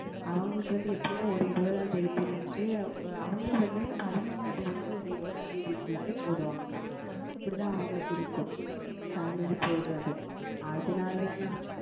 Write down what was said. அவங்களுக்கு வந்து எப்படி என்றால் ஓர் இருபதாம் தேதியில் இருந்து அவங்கள் வந்து பதினைந்தாம் தேதியில் இருந்து ஓர் இருபதாம் தேதிக்குள் போடுவார்கள் Mam இப்படி தான் அவங்களுக்கு இருக்கும் Salary போடுவது அதுனால் தான் நான்